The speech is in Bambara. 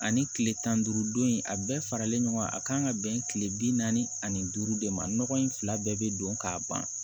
Ani kile tan ni duuru don in a bɛɛ faralen ɲɔgɔn kan a kan ka bɛn kile bi naani ani duuru de ma ɲɔgɔn in fila bɛɛ bɛ don k'a ban